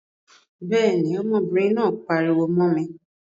Béèni, ọmọbìnrin náà pariwo mó mi